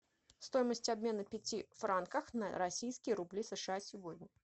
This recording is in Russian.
стоимость обмена пяти франков на российские рубли сша сегодня